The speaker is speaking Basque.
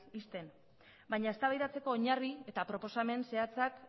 ixten baina eztabaidatzeko oinarri eta proposamen zehatzak